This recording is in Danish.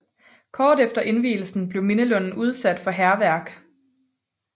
Kort efter indvielsen blev mindelunden udsat for hærværk